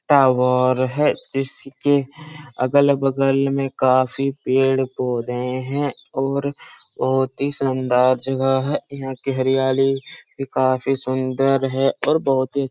टाओर है| इसके अगल बगल में काफी पेड़ पौधे हैं और बहोत ही सुन्दर जगह है| यहाँ के हरयाली भी काफी सुन्दर है और दो-तीन --